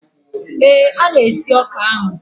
Ee, a na-esi ọka ahụ.